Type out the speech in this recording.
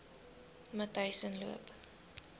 matyzensloop